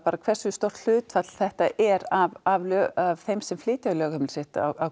hversu stórt hlutfall þetta er af af þeim sem flytja lögheimili sitt á